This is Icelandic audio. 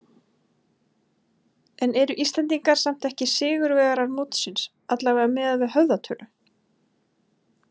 En eru Íslendingar samt ekki sigurvegarar mótsins, allavega miðað við höfðatölu?